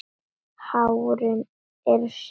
Hárin eru sef.